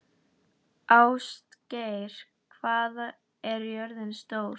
Ástgeir, hvað er jörðin stór?